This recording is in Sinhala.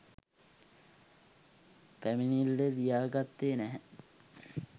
පැමිණිල්ලේ ලියා ගත්තේ නැහැ.